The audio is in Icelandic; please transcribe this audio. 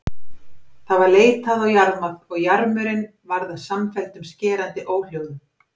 Það var leitað og jarmað og jarmur- inn varð að samfelldum skerandi óhljóðum.